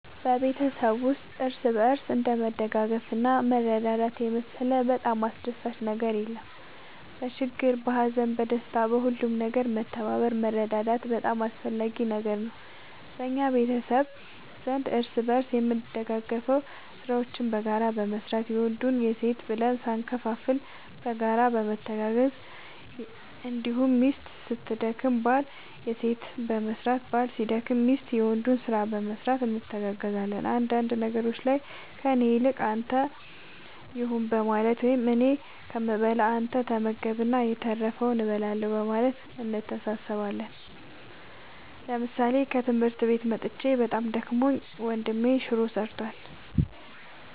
በቤተሰብ ውስጥ እርስ በርስ እንደ መተጋገዝና መረዳዳት የመሰለ በጣም አስደሳች ነገር የለም በችግር በሀዘን በደስታ በሁሉም ነገር መተባበር መረዳዳት በጣም አስፈላጊ ነገር ነው በእኛ ቤተሰብ ዘንድ እርስ በርስ የምንደጋገፈው ስራዎችን በጋራ በመስራት የወንድ የሴት ብለን ሳንከፋፈል በጋራ በመተጋገዝ እንዲሁም ሚስት ስትደክም ባል የሴትን በመስራት ባል ሲደክም ሚስት የወንዱን ስራ በመስራት እንተጋገዛለን አንዳንድ ነገሮች ላይ ከእኔ ይልቅ ለአንተ ይሁን በማለት ወይም እኔ ከምበላ አንተ ተመገብ እና የተረፈውን እበላለሁ በማለት እንተሳሰባለን ምሳሌ ከትምህርት መጥቼ በጣም ደክሞኝ ወንድሜ ሹሮ ሰርቷል።